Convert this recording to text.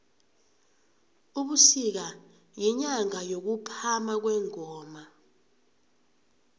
ubusika yinyanga yokuphama kwengoma